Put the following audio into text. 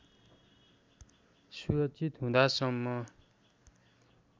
सुरक्षित हुँदासम्म